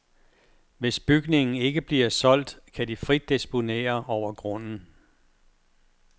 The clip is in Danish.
Hvis bygningen ikke bliver solgt, kan de frit disponere over grunden.